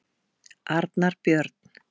Arnar Björn.